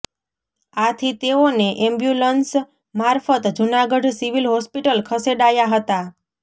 આથી તેઓને એમ્બ્યુલન્સ મારફત જૂનાગઢ સિવિલ હોસ્પિટલ ખસેડાયા હતા